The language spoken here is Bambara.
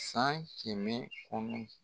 San kɛmɛ bɛ kɔnɔn